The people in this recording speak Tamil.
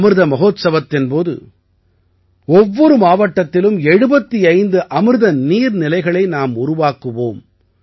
அமிர்த மஹோத்சவமத்தின் போது ஒவ்வொரு மாவட்டத்திலும் 75 அமிர்த நீர்நிலைகளை நாம் உருவாக்குவோம்